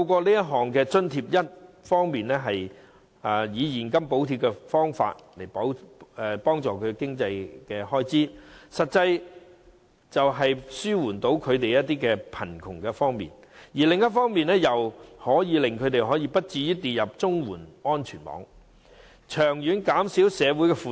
這項津貼一方面以現金補貼他們的經濟開支，實際地紓緩他們面對的貧窮，而另一方面，則避免他們跌入綜援安全網，長遠可減少社會負擔。